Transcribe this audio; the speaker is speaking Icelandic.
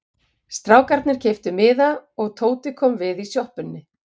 Strákarnir keyptu miða og Tóti kom við í sjoppunni.